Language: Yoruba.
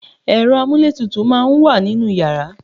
ẹ̀rọ amúlé tutù máà ń wà ninú yàrá